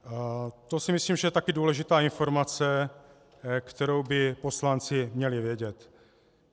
To si myslím, že je taky důležitá informace, kterou by poslanci měli vědět.